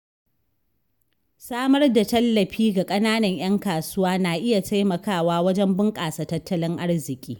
Samar da tallafi ga ƙananan ‘yan kasuwa na iya taimakawa wajen bunƙasa tattalin arziƙi.